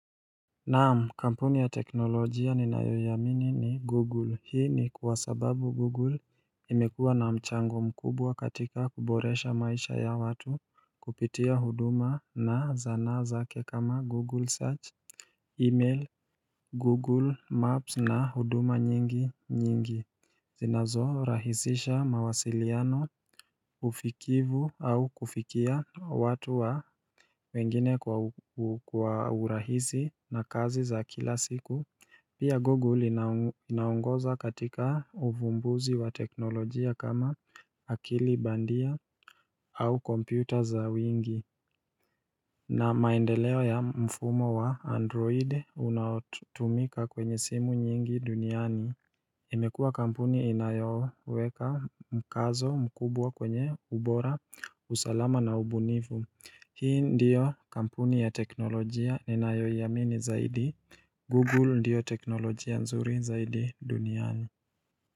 Naam, kampuni ya teknolojia ninayoiamini ni google hii ni kwa sababu google imekuwa na mchango mkubwa katika kuboresha maisha ya watu kupitia huduma na zanaa zake kama google search, email google maps na huduma nyingi nyingi zinazorahisisha mawasiliano, ufikivu au kufikia watu wa wengine kwa urahisi na kazi za kila siku Pia Google inaongoza katika uvumbuzi wa teknolojia kama akili bandia au kompyuta za wingi na maendeleo ya mfumo wa Android unaotumika kwenye simu nyingi duniani imekuwa kampuni inayoweka mkazo mkubwa kwenye ubora, usalama na ubunifu Hii ndiyo kampuni ya teknolojia ninayoiamini zaidi Google ndiyo teknolojia nzuri zaidi duniani.